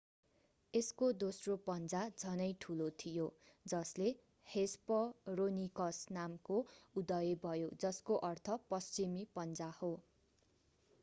यसको दोस्रो पञ्जा झनै ठूलो थियो जसले हेस्परोनिकस नामको उदय भयो जसको अर्थ पश्चिमी पञ्जा हो